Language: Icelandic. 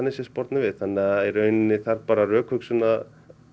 spornað við þannig að í rauninni þarf bara rökhugsun að